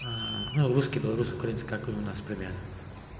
ну русские белорусы украинцы как и у нас примерно